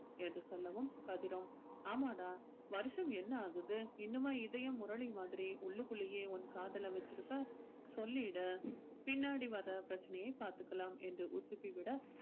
என்று சொல்லவும் கதிரும் ஆமாம்டா வருஷம் என்ன ஆகுது இன்னுமா இதயம் முரளி மாதிரி உள்ளுக்குள்ளேயே உன் காதலை வச்சிருப்ப சொல்லிடு பின்னாடி வர்ற பிரச்சனையை பார்த்துக்கலாம் என்று உசுப்பி விட